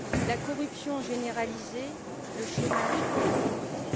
la corruption généralisée, le chômage et la pauvreté.